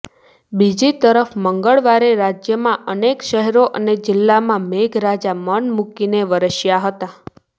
બીજી તરફ મંગળવારે રાજ્યાના અનેક શહેરો અને જિલ્લામાં મેઘરાજા મન મુકીને વરસ્યા હતા